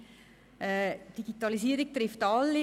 Die Digitalisierung trifft alle.